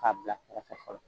K'a bila kɛrɛfɛ fɔlɔ